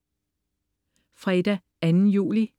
Fredag den 2. juli